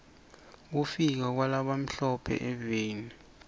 kufika kwala bamhlo phe eveni